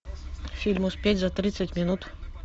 фильм успеть за тридцать минут